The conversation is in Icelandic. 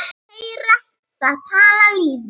En vestur?